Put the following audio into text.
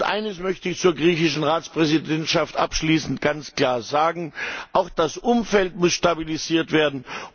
Eines möchte ich zur griechischen Ratspräsidentschaft abschließend ganz klar sagen Auch das Umfeld muss stabilisiert werden.